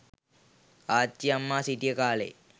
ආච්චි අම්මා සිටිය කාලයේ